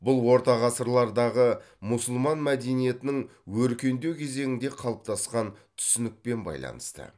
бұл ортағасырлардағы мұсылман мәдениетінің өркендеу кезеңінде қалыптасқан түсінікпен байланысты